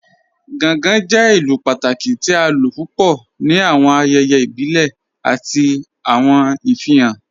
Gàngàn jẹ̀ ìlú pátàkí tì à ló púpọ̀ ní awọn ayẹyẹ ibìlẹ̀ àti awọn ìfihàn.